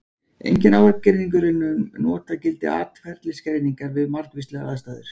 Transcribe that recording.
Enginn ágreiningur er um notagildi atferlisgreiningar við margvíslegar aðstæður.